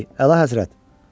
Hey, Əlahəzrət!